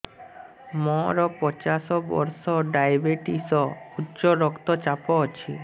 ମୋର ପଚାଶ ବର୍ଷ ଡାଏବେଟିସ ଉଚ୍ଚ ରକ୍ତ ଚାପ ଅଛି